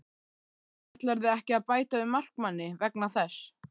Ætlarðu ekki að bæta við markmanni vegna þess?